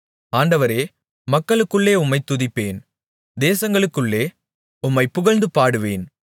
ஆண்டவரே மக்களுக்குள்ளே உம்மைத் துதிப்பேன் தேசங்களுக்குள்ளே உம்மைப் புகழ்ந்து பாடுவேன்